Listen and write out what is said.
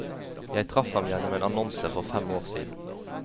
Jeg traff ham gjennom en annonse for fem år siden.